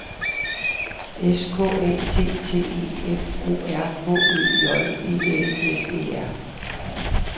S K A T T E F O R H Ø J E L S E R